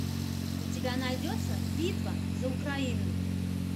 у тебя найдется битва за украину